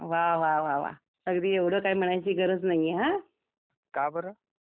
वाह वाह वाह वाह अगदी एवढं काय म्हणायची गरज नाहीये हा